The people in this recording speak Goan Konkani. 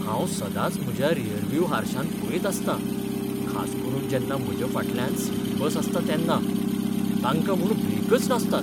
हांव सदांच म्हज्या रेअरव्यू हारश्यांत पळयत आसतां, खास करून जेन्ना म्हज्या फाटल्यान सिटी बस आसता तेन्ना. तांकां म्हूण ब्रेकच नासतात.